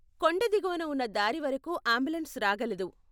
కొండ దిగువన ఉన్న దారి వరకు ఆంబులెన్స్ రాగలదు.